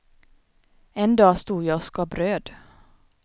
En dag stod jag och skar bröd.